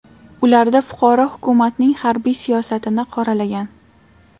Ularda fuqaro hukumatning harbiy siyosatini qoralagan.